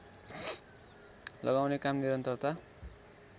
लगाउने काम निरन्तरता